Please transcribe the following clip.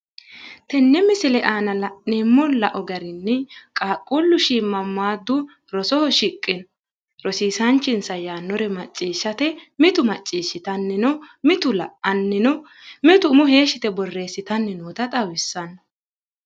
tenne misile aana la'neemmo lao garinni qaaqquullu shiimamaadu rosoho shiqqe rosiisaanchinsa yaannore macciishshate mitu macciishshitanni mitu la'anni no mitu umo heeshshi yite birreessitanni afantanno.